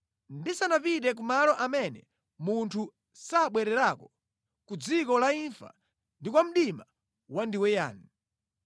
ndisanapite ku malo amene munthu sabwererako ku dziko la imfa ndi kwa mdima wandiweyani,